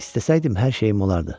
İstəsəydim hər şeyim olardı.